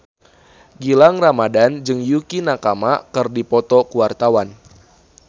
Gilang Ramadan jeung Yukie Nakama keur dipoto ku wartawan